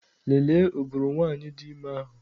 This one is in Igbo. Lelee ụbụrụ nwanyị dị ime ahụ!